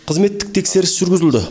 қызметтік тексеріс жүргізілді